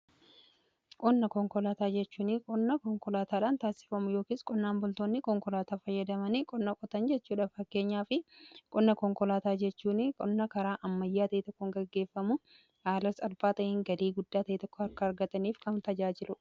Qonna konkolaataa jechuun qonna konkolaataadhaan taassifamu yookiis qonnaan boltoonni qonkolaataa fayyadamanii qonna qotan jechuudha fakeenyaa fi qonna konkolaataa jechuun qonna karaa ammayyaa tahi tokkon gaggeeffamu aalas albaatahiin gadii guddaa tahi tokko akka argataniif kan tajaajilu.